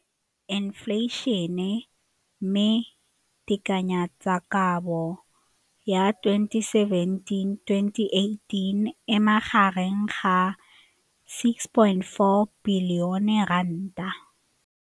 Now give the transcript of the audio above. Infleišene, mme tekanyetsokabo ya 2017, 18, e magareng ga R6.4 bilione.